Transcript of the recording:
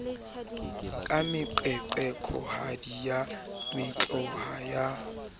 ka meqeqekohadi ya mekotla ya